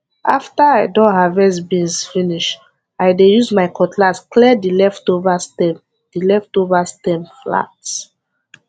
after i don harvest beans finish i dey use my cutlass clear the leftover stem the leftover stem flat